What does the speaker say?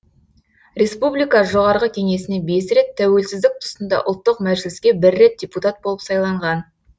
республика жоғарғы кеңесіне бес рет тәуелсіздік тұсында ұлттық мәжіліске бір рет депутат болып сайланған